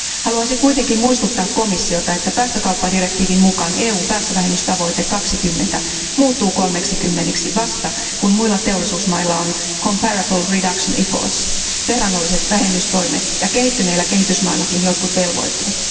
Haluaisin kuitenkin muistuttaa komissiota, että päästökauppadirektiivin mukaan EUn päästövähennystavoite 20 prosenttia muuttuu 30 prosentiksi vasta, kun muilla teollisuusmailla on comparable reduction efforts, verrannolliset vähennystoimet, ja kehittyneillä kehitysmaillakin jotkin velvoitteet.